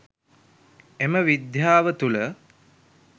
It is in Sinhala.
එම විද්‍යාව තුල